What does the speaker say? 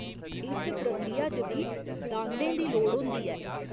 इस प्रक्रिया च बी दांदें दी लोड़ होंदी ऐ।